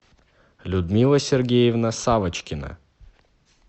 людмила сергеевна савочкина